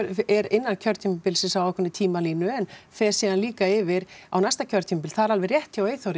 er innan kjörtímabilsins á ákveðinni tímalínu en fer síðan líka yfir á næsta kjörtímabil það er alveg rétt hjá Eyþóri